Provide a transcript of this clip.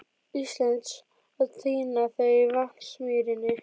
Íslands að tína þau í Vatnsmýrinni.